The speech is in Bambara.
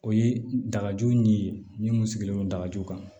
O ye dakaju ni mun sigilen don dajugu kan